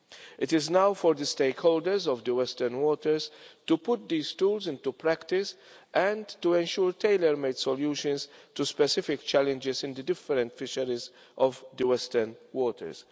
It is now for the stakeholders of the Western Waters to put these tools into practice and to ensure tailor made solutions to specific challenges in the different fisheries of the Western Waters.